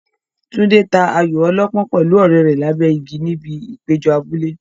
Tunde ta ayo ọlọ́pọ́n pẹ̀lú ọ̀rẹ́ rẹ̀ lábẹ́ igi níbi ìpéjọ abúlé.